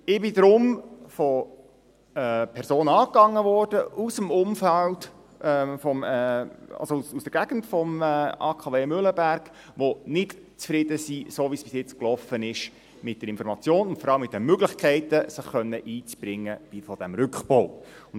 Ich wurde deshalb von Personen aus der Gegend des AKW Mühleberg kontaktiert, die damit, wie es bis jetzt – mit der Information und vor allem mit den Möglichkeiten, sich in den Rückbau einbringen zu können – lief, nicht zufrieden sind.